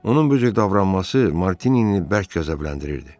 Onun bu cür davranması Martini bərk qəzəbləndirirdi.